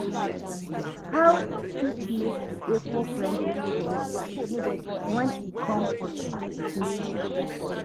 How you fit make di eco-friendly choices when e come for transportation?